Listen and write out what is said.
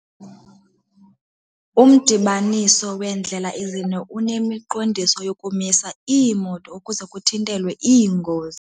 Umdibaniso weendlela ezine unemiqondiso yokumisa iimoto ukuze kuthintelwe iingozi.